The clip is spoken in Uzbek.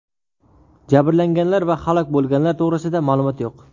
Jabrlanganlar va halok bo‘lganlar to‘g‘risida ma’lumot yo‘q.